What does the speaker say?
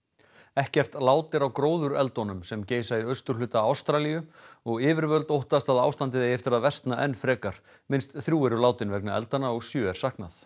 ekkert lát er á gróðureldunum sem geisa í austurhluta Ástralíu og yfirvöld óttast að ástandið eigi eftir að versna enn frekar minnst þrjú eru látin vegna eldanna og sjö er saknað